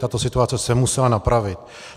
Tato situace se musela napravit.